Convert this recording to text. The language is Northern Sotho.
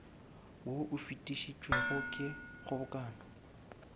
wo o fetišitšwego ke kgobokano